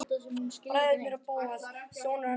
Bræðurnir og Bóas, sonur hans Smára.